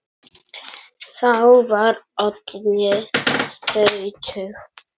Þá var Oddný sjötug.